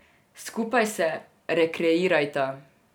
Skupaj se rekreirajta.